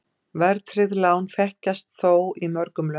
Verðtryggð lán þekkjast þó í mörgum löndum.